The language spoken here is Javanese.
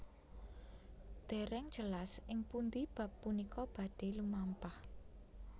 Dèrèng jelas ing pundhi bab punika badhé lumampah